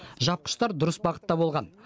жапқыштар дұрыс бағытта болған